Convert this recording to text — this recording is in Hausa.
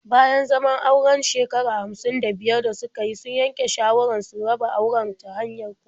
Bayan zaman auren shekara hamsin da biyar da suka yi, sun yanke shawarar su raba auren ta hanyar kotu.